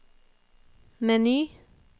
meny